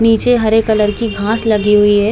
नीचे हरे कलर की घास लगी हुई है।